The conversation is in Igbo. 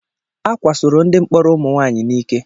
Ákwásoro ndị mkpọrọ ụmụ nwaanyị n'ike.